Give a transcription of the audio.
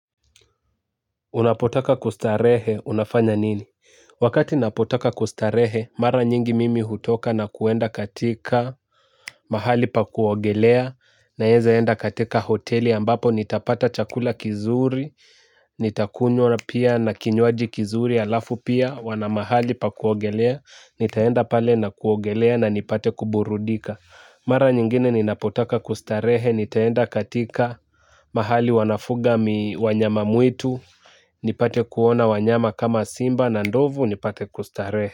Unapotaka kustarehe, unafanya nini? Wakati napotaka kustarehe, mara nyingi mimi hutoka na kuenda katika mahali pa kuogelea naeza enda katika hoteli ambapo nitapata chakula kizuri nitakunywa pia na kinywaji kizuri alafu pia wana mahali pa kuogelea nitaenda pale na kuogelea na nipate kuburudika. Mara nyingine ninapotaka kustarehe, nitaenda katika mahali wanafuga wanyamamwitu nipate kuona wanyama kama simba na ndovu nipate kustarehe.